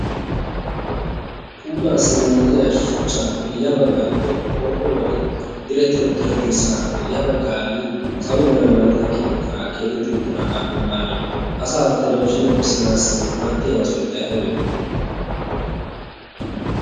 puulaassi maaddiya shuchchaappe ya baggan qorpporuwan dirette uttiraddirssaappe ya baggan salo mera malatiya keettaa keadetti uttiraagaa bonnan asa telebiziiniyaa bissanaassi maaddiyaagaa sunttay aybee?